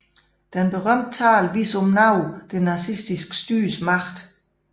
Denne berømte tale viser om noget det nazistiske styres magt